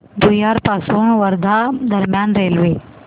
भुयार पासून वर्धा दरम्यान रेल्वे